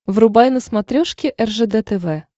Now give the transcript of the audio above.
врубай на смотрешке ржд тв